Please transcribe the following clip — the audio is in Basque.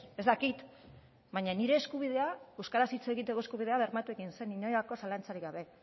ez dakit baina nire eskubidea euskaraz hitz egiteko eskubidea bermatu egin zen inolako zalantzarik gabe